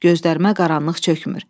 Gözlərimə qaranlıq çökmür.